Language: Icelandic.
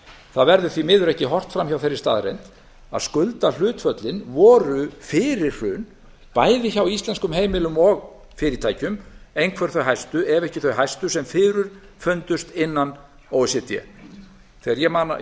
það verður því miður ekki horft fram hjá þeirri staðreynd að skuldahlutföllin voru fyrir hrun bæði hjá íslenskum heimilum og fyrirtækjum einhver þau hæstu ef ekki þau hæstu sem fyrirfundust innan o e c d ég